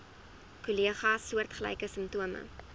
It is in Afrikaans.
kollegas soortgelyke simptome